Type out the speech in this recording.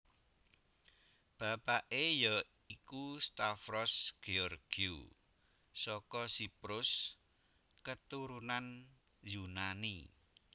Bapake ya iku Stavros Georgiou saka Siprus keturunan Yunani